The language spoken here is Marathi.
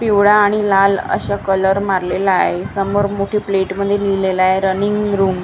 पिवळा आणि लाल असा कलर मारलेला आहे समोर मोठी प्लेट मध्ये लिहिलेलं आहे रनिंग रूम आ--